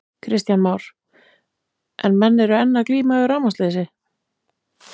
Kristján Már: En menn eru enn að glíma við rafmagnsleysi?